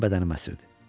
Bütün bədənim əsirdi.